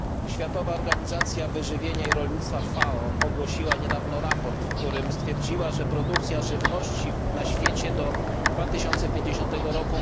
Światowa Organizacja Wyżywienia i Rolnictwa FAO ogłosiła niedawno sprawozdanie, w którym stwierdziła, że produkcja żywności na świecie do 2050 r.